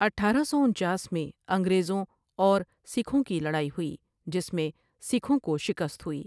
اٹھارہ سو انچاس میں انگریزوں اور سکھوں کی لرائی ہوئی جس میں سکھوں کو شکست ہوئی ۔